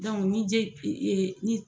ni je ni.